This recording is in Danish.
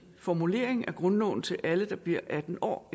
formulering af grundloven til alle i de bliver atten år